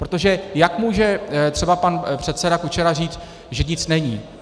Protože jak může třeba pan předseda Kučera říct, že nic není?